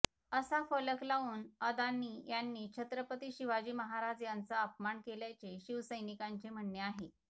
असा फलक लावून अदानी यांनी छत्रपती शिवाजी महाराज यांचा अपमान केल्याचे शिवसैनिकांचे म्हणणे आहे